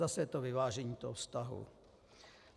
Zase je to vyvážení toho vztahu.